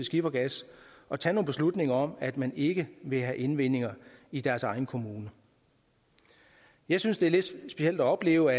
skifergas og tage beslutninger om at man ikke vil have indvinding i deres egen kommune jeg synes det er lidt specielt at opleve